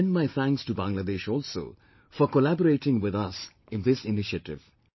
I extend my thanks to Bangladesh also for collaborating with us in this initiative